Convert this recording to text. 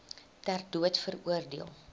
ter dood veroordeel